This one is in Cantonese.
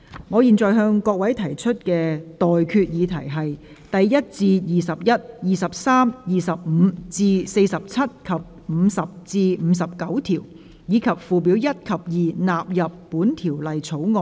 我現在向各位提出的待決議題是：第1至21、23、25至47及50至59條，以及附表1及2納入本條例草案。